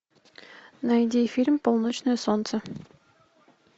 найди фильм полночное солнце